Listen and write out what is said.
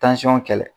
kɛlɛ